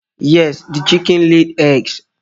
Yes, the chickedn laid eggs